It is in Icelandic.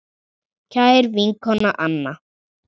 Kæra vinkona Anna.